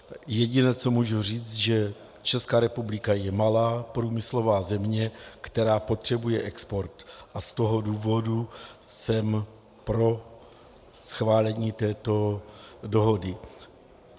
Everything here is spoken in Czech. Jediné, co můžu říct, že Česká republika je malá průmyslová země, která potřebuje export, a z toho důvodu jsem pro schválení této dohody.